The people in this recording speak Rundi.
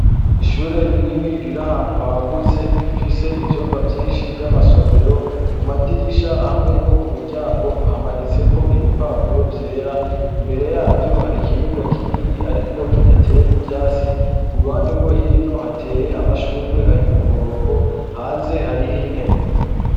Ishuri rinini riri ahantu hagutse rifise ivyumba vyinshi vy'amasomero, ku madirisha hamwe no ku miryango hamanitseko ibipapuro vyera. Imbere yaryo hari ikibuga kinini ariko kidateye n'ivyatsi. Ku ruhande rwo hino hateye amashurwe ari ku murongo, hanze hariyo intebe.